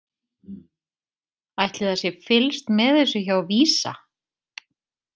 Ætli það sé fylgst með þessu hjá VISA?